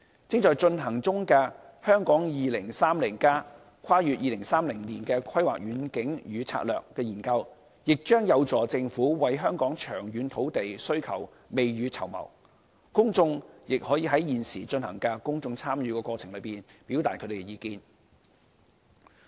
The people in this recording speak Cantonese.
正在進行中的《香港 2030+： 跨越2030年的規劃遠景與策略》研究，亦將有助政府為香港的長遠土地需求未雨綢繆，公眾亦可在現時進行的公眾參與過程中，表達他們的意見。